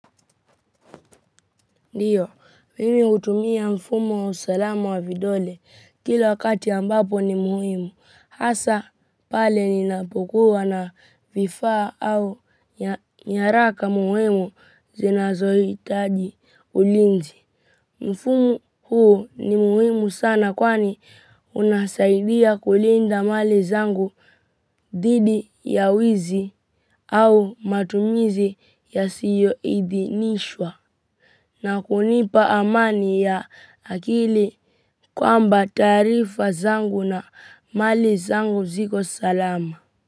Ndiyo, mimi hutumia mfumo wa usalamu wa vidole kila wakati ambapo ni muhimu, hasa pale ninapokua na vifaa au nyaraka muhimu zinazohitaji ulinzi. Mfumo huo ni muhimu sana kwani unasaidia kulinda mali zangu dhidi ya wizi au matumizi ya siyo idinishwa. Na kunipa amani ya akili kwamba taarifa zangu na mali zangu ziko salama.